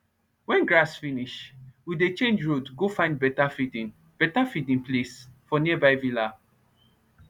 wen grass finish we dey change road go find beta feeding beta feeding place for nearby villa